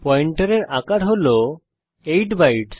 পয়েন্টারের আকার হল 8 বাইট